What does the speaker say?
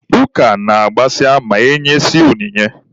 Ụka na-agbasa ma e nyesịa onyinye.